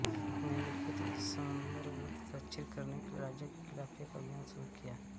निम्नलिखित इस समुद्रगुप्त दक्षिण करने के लिए राज्यों के खिलाफ एक अभियान शुरू किया